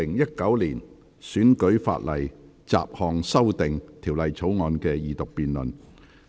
本會恢復《2019年選舉法例條例草案》的二讀辯論。